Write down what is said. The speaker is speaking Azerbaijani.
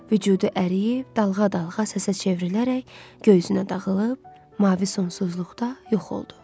Vücudu əriyib, dalğa-dalğa səsə çevrilərək göy üzünə dağılıb, mavi sonsuzluqda yox oldu.